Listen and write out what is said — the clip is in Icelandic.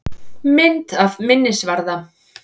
Mynd af minnisvarða.